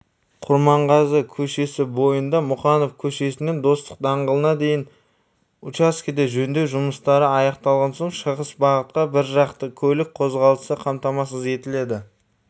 құрманғазы көшесі бойында мұқанов көшесінен достық даңғылына дейінгі учаскеде жөндеу жұмыстары аяқталған соң шығыс бағытта біржақты көлік қозғалысы қамтамасыз етіледі